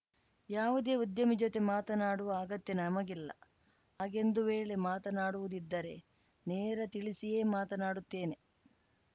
ಯಾವುದೇ ಉದ್ಯಮಿ ಜೊತೆ ಮಾತನಾಡುವ ಅಗತ್ಯ ನಮಗಿಲ್ಲ ಹಾಗೇಂದು ವೇಳೆ ಮಾತನಾಡುವುದಿದ್ದರೆ ನೇರ ತಿಳಿಸಿಯೇ ಮಾತನಾಡುತ್ತೇನೆ